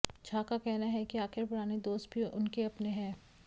झा का कहना है कि आखिर पुराने दोस्त भी उनके अपने हैं